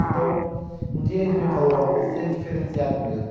Então, um dia eles me falou, você é diferenciado mesmo.